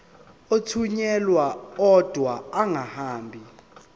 athunyelwa odwa angahambi